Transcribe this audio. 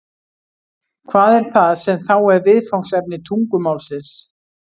Hvað er það sem þá er viðfangsefni tungumálsins?